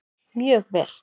Mjög vel